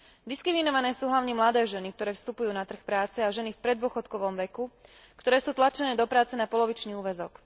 Diskriminované sú hlavne mladé ženy, ktoré vstupujú na trh práce, a ženy v preddôchodkovom veku, ktoré sú tlačené do práce na polovičný úväzok.